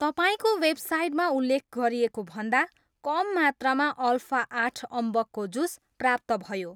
तपाईँको वेबसाइटमा उल्लेख गरिएको भन्दा कम मात्रामा अल्फा आठ अम्बकको जुस प्राप्त भयो